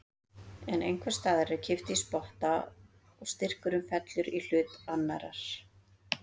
En einhvers staðar er kippt í spotta og styrkurinn fellur í hlut annarrar.